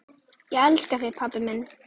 Ég elska þig, pabbi minn.